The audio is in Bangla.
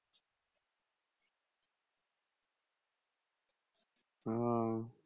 ও